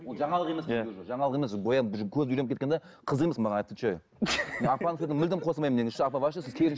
ол жаңалық емес жаңалық емес бояп уже көз үйреніп кеткен де қызық емес маған отвечаю апа сізге мүлдем қосылмаймын негізі ше апа сіз